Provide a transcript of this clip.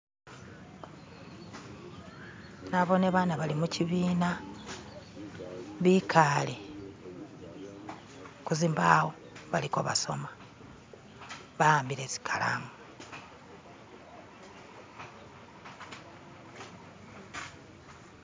"<skip>"naboone baana bali mukyibiina bikaale kuzimbawo bali kebasoma baambile zikalamu